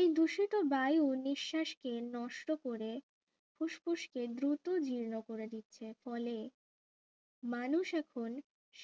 এই দূষিত বায়ু নিঃশ্বাসকে নষ্ট করে ফুসফুসকে দুটো জীর্ণ করে দিচ্ছে ফলে মানুষ এখন